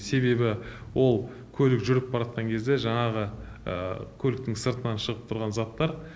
себебі ол көлік жүріп баратқан кезде жаңағы көліктің сыртынан шығып тұрған заттар